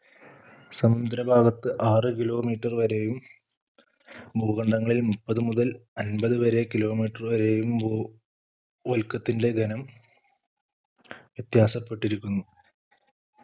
സമുദ്ര ഭാഗത്ത്‌ ആറ് Kilometer വരെയും ഭൂഖണ്ഡങ്ങളിൽ മുപ്പത് മുതൽ അൻപതു വരെ Kilometer വരെയും ഭൂ വൽക്കത്തിന്റെ ഘനം വ്യത്യാസപ്പെട്ടിരിക്കുന്നു